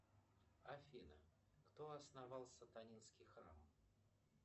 афина кто основал сатанинский храм